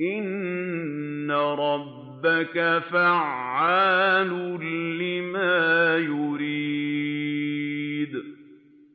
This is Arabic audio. إِنَّ رَبَّكَ فَعَّالٌ لِّمَا يُرِيدُ